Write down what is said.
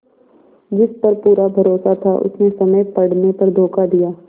जिस पर पूरा भरोसा था उसने समय पड़ने पर धोखा दिया